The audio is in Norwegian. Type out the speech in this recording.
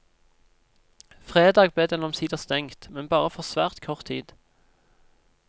Fredag ble den omsider stengt, men bare for svært kort tid.